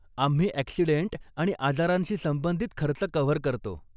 आम्ही ॲक्सिडेंट आणि आजारांशी संबंधित खर्च कव्हर करतो.